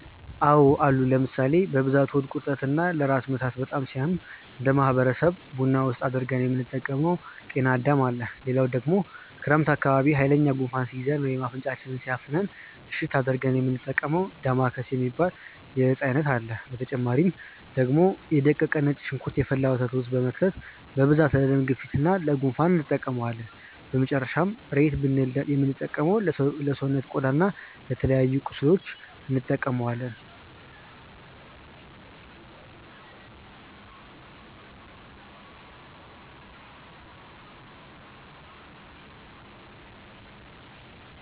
አዎ አሉ ለምሳሌ፦ በብዛት ሆድ ቁርጠት እና ለራስ ምታት በጣም ሲያም እነደ ማህበረሰብ ቡና ውስጥ አድርገን የምንጠቀመው ጤናዳም አለ፣ ሌላው ደግሞ ክረምት አካባቢ ሃይለኛ ጉንፋን ሲይዘን ወይም አፍንጫችንን ሲያፍነን እሽት አድርገን የሚንጠቀመው ዳማከሴ የሚባል የእፅዋት አይነት አለ፣ በተጨማሪ ደግሞ የ ደቀቀ ነጭ ሽንኩርት የፈላ ወተት ውስጥ በመክተት በብዛት ለደም ግፊት እና ለ ጉንፋን እንጠቀመዋለን፣ በመጨረሻም ሬት ብልን የምንጠራው ለሰውነት ቆዳ እና ለተለያዩ ቁስሎች እንጠቀማለን።